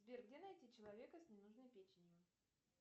сбер где найти человека с ненужной печенью